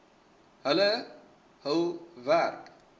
hulle hul werk